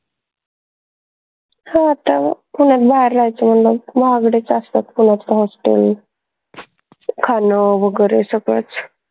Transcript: हो आता पुन्यात बाहेर राहायचं म्हंटल्यावर महागडेच असतात पुन्याचे hostel खान वगैरे सगळंच